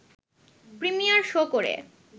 premier show করে